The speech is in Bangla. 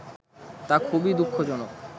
তা খুবই দুঃখজনক